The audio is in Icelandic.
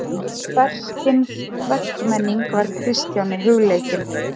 Hvers kyns verkmenning var Kristjáni hugleikin.